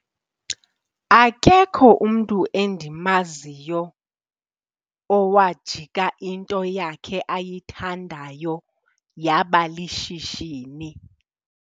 Akekho umntu endimaziyo owajika into yakhe ayithandayo yaba lishishini.